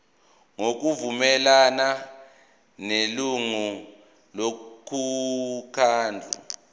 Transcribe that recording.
ngokuvumelana nelungu lomkhandlu